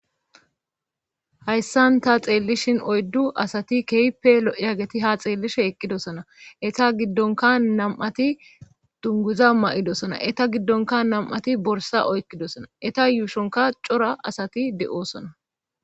hayssan ta xeellishin oyddu asati kehpe lo7eyageti ha xeellishe eqqidosona eta giddonka nam7ati dunguza ma7idosona eta giddonka nam7ati borsa oykkidosona eta yuushonka cora asati de7oosona